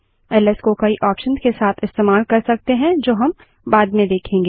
1एस को कई ऑप्शंस के साथ इस्तेमाल कर सकते हैं जो हम बाद में देखेंगे